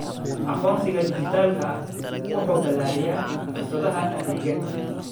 Aqoonsiga dhijitaalka ah wuxuu ballaariyaa fursadaha adeegga.